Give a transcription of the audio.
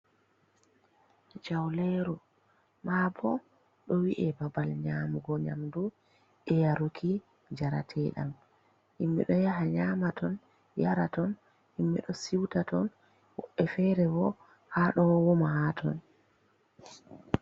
Jauleeru, maa bo ɗo wi’e babal nyaamugo nyamdu e yaruki njarateɗam, himɓe ɗo yaha nyaama ton, yara ton, himɓe ɗo siuta ton, woɓɓe fere bo haa ɗo wama ha ton.